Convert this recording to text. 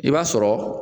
I b'a sɔrɔ